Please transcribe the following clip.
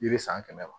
Yiri san kɛmɛ ma